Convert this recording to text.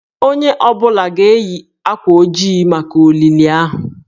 Onye ọ bụla ga-eyi akwa ojii maka olili ahụ.